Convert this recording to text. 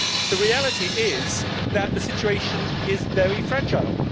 The reality is that the situation is very fragile.